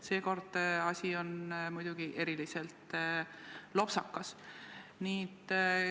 Seekord on asi muidugi eriliselt lopsakas.